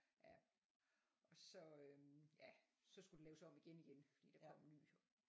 Ja. Og så øh ja så skulle det laves om igen igen fordi der kom en ny